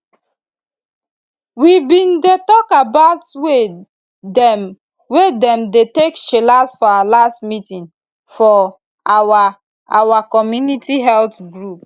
we bin dey talk about way dem wey dem dey take chillax for our last meeting for our our community health group